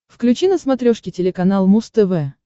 включи на смотрешке телеканал муз тв